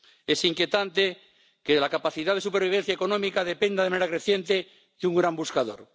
Es inquietante que la capacidad de supervivencia económica dependa de manera creciente de un gran buscador.